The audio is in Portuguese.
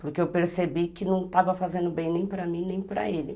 Porque eu percebi que não estava fazendo bem nem para mim, nem para ele.